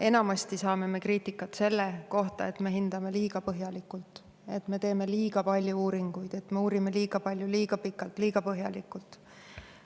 Enamasti saame me kriitikat selle pärast, et me hindame liiga põhjalikult, teeme liiga palju uuringuid, uurime liiga palju, liiga pikalt, liiga põhjalikult.